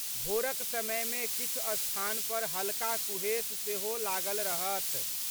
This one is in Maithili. भोरक समय में किछु स्थान पर हल्का कुहेस सेहो लागल रहत।